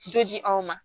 Joli anw ma